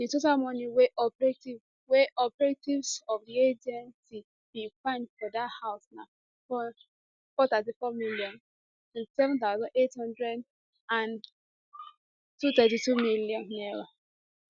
di total money wey operatives wey operatives of di agency bin find for dat house na 434 million 27800 and n232 million